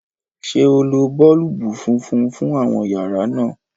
ṣe o ló boolubu fúnfún fún àwọn yàrá náa?